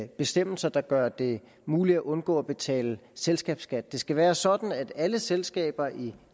bestemmelser der gør det muligt at undgå at betale selskabsskat det skal være sådan at alle selskaber i